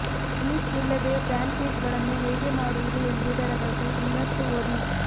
yeast ಇಲ್ಲದೆ ಪ್ಯಾನ್ಕೇಕ್ಗಳನ್ನು ಹೇಗೆ ಮಾಡುವುದು ಎಂಬುದರ ಬಗ್ಗೆ ಇನ್ನಷ್ಟು ಓದಿ